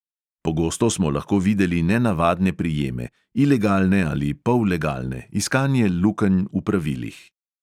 Pogosto smo lahko videli nenavadne prijeme; ilegalne ali pollegalne, iskanje lukenj v pravilih.